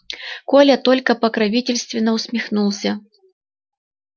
коля только покровительственно усмехнулся